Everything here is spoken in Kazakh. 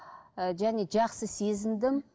ііі және жақсы сезіндім